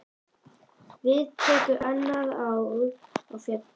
Við tekur annað ár á fjöllum.